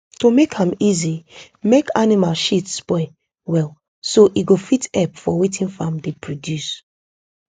to make am easy make animal shit spoil well so e go fit help for wetin farm dey produce